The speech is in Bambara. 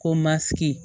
Ko masigi